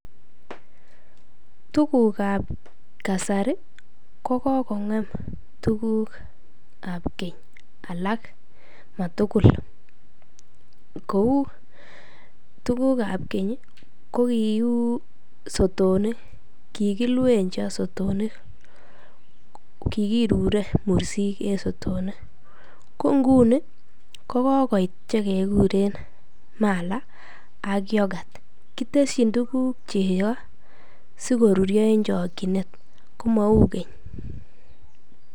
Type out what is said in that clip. Tukukab kasari ko kokong'em tukukab keny alak matukul kouu tukukab keny ko kiuu sotonik, kikilwen cho sotonik, kikirure cheko en sotonik, ko ng'uni ko kokoit chekekuren mala ak yoghurt, kitesyin tukuk cheko sikoruryo en chokyinet ko mouu keny.